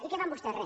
i què fan vostès re